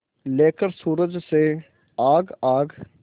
लेकर सूरज से आग आग